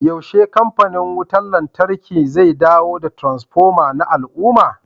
yaushe kamfanin wutar lantarki zai dawo da transfoma na al'umma